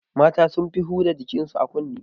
Mata sun fi huda jikin su a kunne